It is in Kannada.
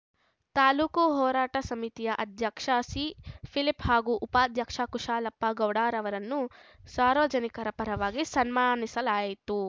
ತಾಲೂಕು ಹೋರಾಟ ಸಮಿತಿಯ ಅಧ್ಯಕ್ಷ ಸಿಫಿಲಿಪ್ ಹಾಗೂ ಉಪಾಧ್ಯಕ್ಷ ಕುಶಾಲಪ್ಪ ಗೌಡ ರವರನ್ನು ಸಾರ್ವಜನಿಕರ ಪರವಾಗಿ ಸನ್ಮಾನಿಸಲಾಯಿತು